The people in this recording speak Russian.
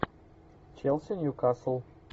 челси ньюкасл